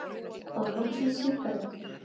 Fá loksins sígarettur